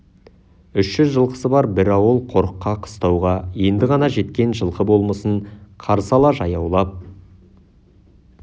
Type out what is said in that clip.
үш жүз жылқысы бар бір ауыл қорыққа қыстауға енді ғана жеткен жылқы болмысын қарсы ала жаяулап